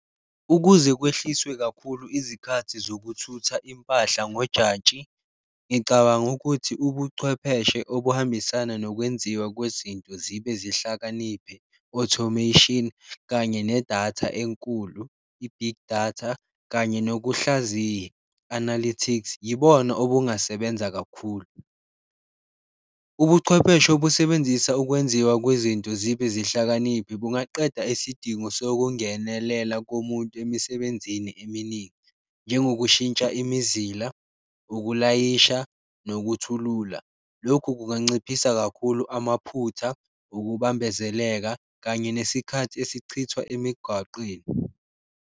Ukuze kwehliswe kakhulu izikhathi zokuthutha impahla ngojantshi ngicabanga ukuthi ubuchwepheshe okuhambisana nokwenziwa kwezinto zibe zihlakaniphe automation kanye nedatha enkulu, i-big datha kanye nokuhlaziya analities yibona obungasebenza kakhulu. Ubuchwepheshe obusebenzisa ukwenziwa kwezinto zibe zihlakaniphile bungaqeda isidingo sokungenelela komuntu emisebenzini eminingi njengokushintsha imizila, ukulayisha nokuthulula, lokhu kunganciphisa kakhulu amaphutha, ukubambezeleka, kanye nesikhathi esichithwa emigwaqeni.